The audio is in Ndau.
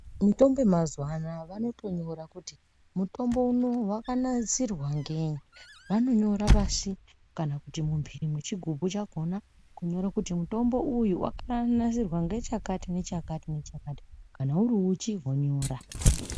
Mitombo yemazuwa anaya vonotonyora kuti, mutombo unowu wakanasirwa ngeyi. Vanonyora pashi ,kana kuti mumphiri mwechigubhu chakhona, kunyore kuti mutombo uyu wakanasirwa ngechakati nechakati nechakati. Kana uri uchi vonyora.